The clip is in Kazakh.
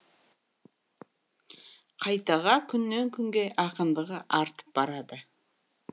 қайтаға күннен күнге ақындығы артып барады